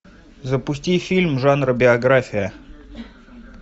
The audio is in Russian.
запусти фильм жанра биография